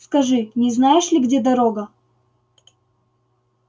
скажи не знаешь ли где дорога